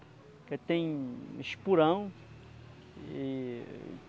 Porque tem espurão. E